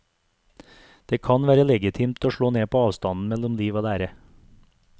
Det kan være legitimt å slå ned på avstanden mellom liv og lære.